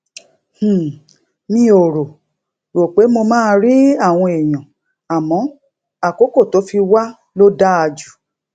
um mi ò rò rò pé mo máa rí àwọn èèyàn àmó àkókò tó fi wá ló dáa jù